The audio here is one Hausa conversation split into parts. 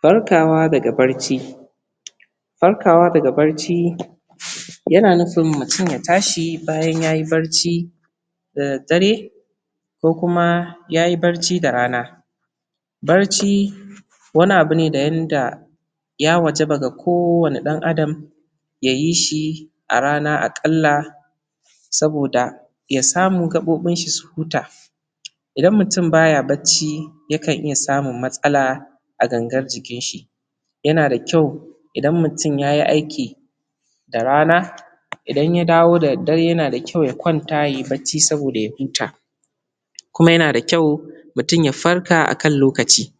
Farkawa daga bacci Farkawa daga bacci yana nuifin mutum ya tashi bayan yayi bacci da daddare, ko kuma yayi bacci da rana. Barci wani abu ne wanda ya wajaba ga kowanne ɗan adam, ya yi shi, a rana aƙalla saboda ya samu gaɓoɓin shi su huta Idan mutum baya bacci yakan iya samun matsala, a gangar jikin shi. Yana da kyau idan mutum yayi aiki da rana idan ya dawo da daddare yana da kyau ya kwanta yayi bacci saboda ya kwanta ya huta. Kuma yana da kyau mutum ya farka da akan lokaci.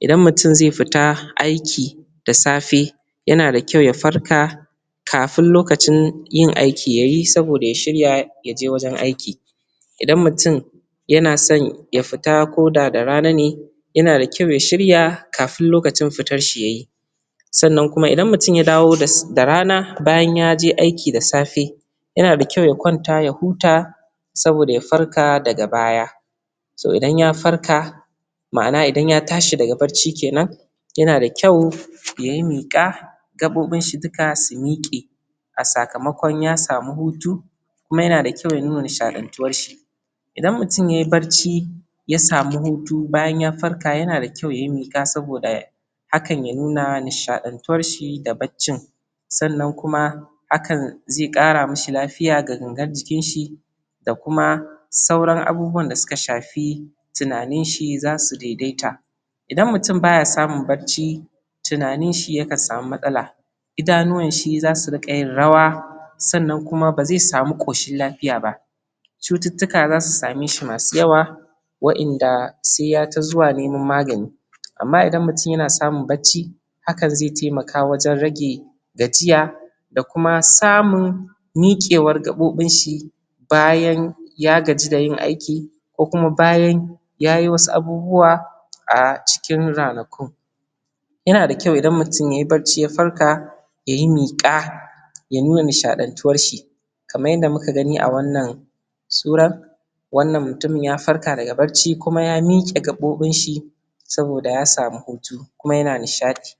Idan mutum zai fita aiki da safe yana da kyau ya farka, kafin lokacin yin aiki yayi saboda ya shirya ya jewajen aiki. Idan mutum yana son ya fita ko da da rana ne yana da kyau ya shirya kafin lokacin fitar shi ya yi. Sannan kuma idan mutum ya dawo da rana bayan yaje aiki da safe yana da kyau ya kwanta ya huta saboda ya farka daga baya. So idan ya farka ma'ana idan ya tashi daga bacci kenan yana da kyau ya yi miƙa, gaɓoɓin shi su huta a sakamakon ya samu hutu kuma yana da kyau ya nuna nishalantuwar shi. Idan mutum yai bacci ya sami hutu bayan ya huta yana da kyau yayi miƙa saboda hakan ya nuna nishaɗantuwar shi da baccin. Sannan kuma, hakan zai ƙara mi shi lafiya ga gangar jikin shi da kuma sauran abubuwan da suka shafi, tunaninshi za su daidaita. Idan mutum baya samun bacci tunanin shi yakan sami matsala, idanuwanshi za su riƙa yin rawa, sannan kuma ba zai sami ƙoshin lafiya ba, cututtuka za su same shi masu yawa, wa'inda sai ya ta zuwa neman magani. Amma idan mutum yana samun bacci, hakan zai taimaka wajen rage gajiya da kuma samun miƙewar gaɓoɓin shi bayan ya gaji da yin aiki ko kuma bayan ya yi wasu abubuwa a cikin ranakun. Yana da kytau idan mutum yai bacci ya farka ya yi miƙa, ya nuna nishadantuwar shi kaman yadda muka gani a wannan surar wannan mutumin ya farka daga bacci kuma ya miƙe gaɓoɓin shi saboda ya sami hutu kuma yana nishaɗi.